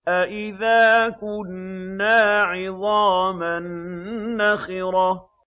أَإِذَا كُنَّا عِظَامًا نَّخِرَةً